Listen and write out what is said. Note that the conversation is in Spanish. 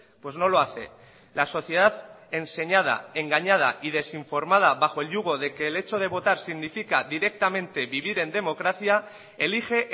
pues no lo hace la sociedad enseñada engañada y desinformada bajo el yugo de que el hecho de votar significa directamente vivir en democracia elige